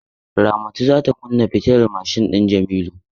Ramatu za ta kunna fitilar mashin din Jamila.